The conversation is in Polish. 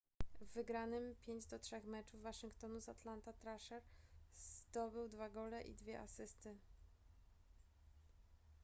w wygranym 5:3 meczu waszyngtonu z atlanta thrasher zdobył dwa gole i dwie asysty